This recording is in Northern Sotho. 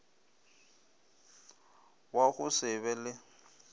wa go se be le